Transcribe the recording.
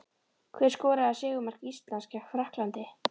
Hver skoraði sigurmark Íslands gegn Frakklandi?